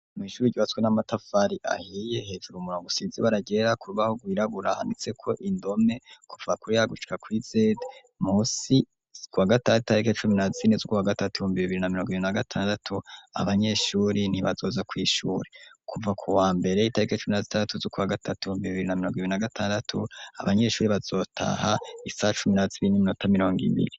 Mw'ishuri ryatswe n'amatafari ahiye hejuru umurungo usizi baragera kubaho gwiraburahanitseko indome kufa kurihagucka kw'izede musi zwa gataitahike cumi na zini zw wa gatatuyumbibibiri na miro giri na gatandatu abanyeshuri ntibazoza kw'ishuri kuva ku wa mberey'itarike cumi na zitandatu z'uko wa gatatuyumbibiri namiro gibi na gatandatu abanyeshuri bazotaha isacumirazibin'iminota mirongo imiri.